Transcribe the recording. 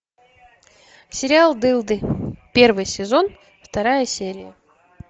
сериал дылды первый сезон вторая серия